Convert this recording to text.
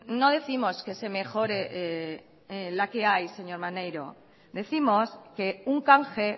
no décimos que se mejore la que hay señor maneiro décimos que un canje